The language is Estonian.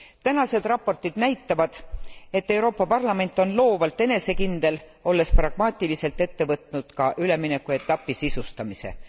Tänased raportid näitavad, et Euroopa Parlament on loovalt enesekindel, olles pragmaatiliselt ette võtnud ka üleminekuetapi sisustamise.